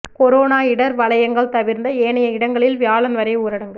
corona இடர் வலயங்கள் தவிர்ந்த ஏனைய இடங்களில் வியாழன் வரை ஊரடங்கு